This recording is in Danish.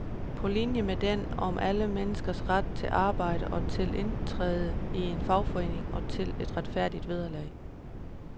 På linje med den om alle menneskers ret til arbejde og til at indtræde i en fagforening og til et retfærdigt vederlag.